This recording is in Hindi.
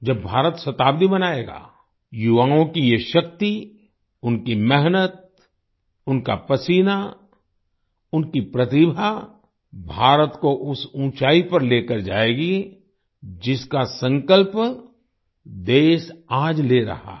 जब भारत शताब्दी मनायेगा युवाओं की ये शक्ति उनकी मेहनत उनका पसीना उनकी प्रतिभा भारत को उस ऊँचाई पर लेकर जाएगी जिसका संकल्प देश आज ले रहा है